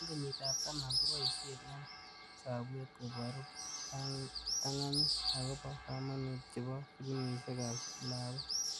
Eng kenyit ab taman(10) koboishe eng sabwet koboru ptan'ganit akobo kamanut chebo filimishekab lagog.